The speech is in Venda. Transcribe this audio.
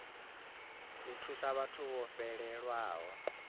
u thusa vhathu vho fhelelwaho